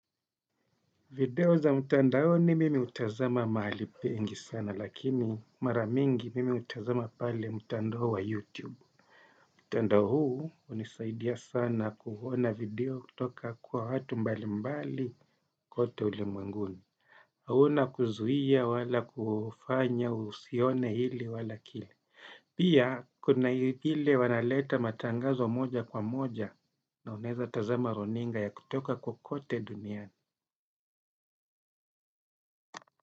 Video za mtandaoni mimi utazama mahali pengi sana lakini mara mingi, mimi utazama pale mtandao wa YouTube. Mtandao huu unisaidia sana kuona video kutoka kwa watu mbali mbali kote ulimwenguni. Hauna kuzuia wala kufanya, usione hili wala kile. Pia kuna ile wanaleta matangazo moja kwa moja, na unaweza tazama runinga ya kutoka kokote duniani.